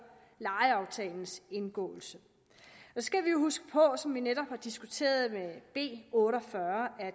lejeaftalens indgåelse så skal vi huske på som vi netop har diskuteret under b otte og fyrre at